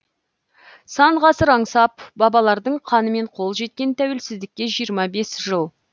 сан ғасыр аңсап бабалардың қанымен қол жеткен тәуелсіздікке жиырма бес жыл